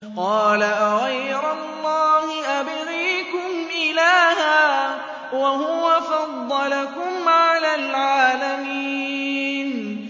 قَالَ أَغَيْرَ اللَّهِ أَبْغِيكُمْ إِلَٰهًا وَهُوَ فَضَّلَكُمْ عَلَى الْعَالَمِينَ